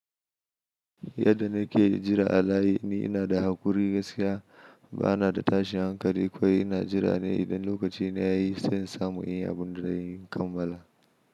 Yadda na ke jira a layi ina da haƙuri gaskiya. Ba na da tashin hankali ko ina jira ne idan lokaci na ya yi, sai in samu in yi abun da zan yi in kammala.